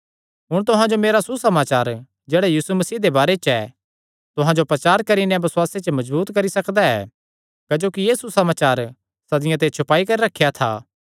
हुण तुहां जो मेरा सुसमाचार जेह्ड़ा यीशु मसीह दे बारे च ऐ तुहां जो प्रचार करी नैं बसुआसे च मजबूत करी सकदा ऐ क्जोकि एह़ सुसमाचार सदियां ते छुपाई करी रखेया था